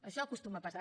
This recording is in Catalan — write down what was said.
això acostuma a passar